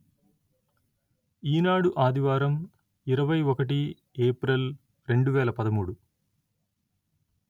ఈనాడు ఆదివారం ఇరవై ఒకటి ఏప్రిల్ రెండు వేల పదమూడు